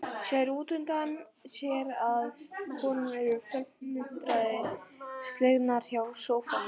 Sér útundan sér að konurnar eru felmtri slegnar hjá sófanum.